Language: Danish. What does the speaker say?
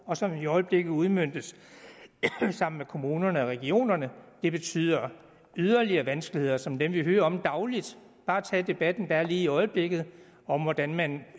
og som i øjeblikket udmøntes sammen med kommunerne og regionerne det betyder yderligere vanskeligheder som dem vi hører om dagligt bare tag debatten der er lige i øjeblikket om hvordan man